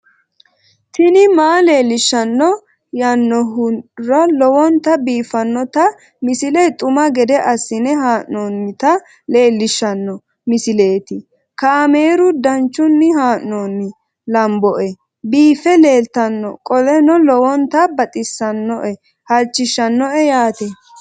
tini maa leelishshanno yaannohura lowonta biiffanota misile xuma gede assine haa'noonnita leellishshanno misileeti kaameru danchunni haa'noonni lamboe biiffe leeeltannoqolten lowonta baxissannoe halchishshanno yaate